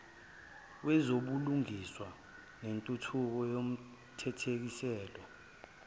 wezobulungiswa nentuthuko yomthethosisekelo